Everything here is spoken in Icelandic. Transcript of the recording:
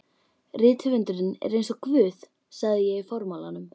Rithöfundurinn er eins og Guð sagði ég í formálanum.